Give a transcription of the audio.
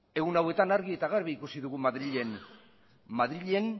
egun hauetan argi eta garbi ikusi ditugu madrilen madrilen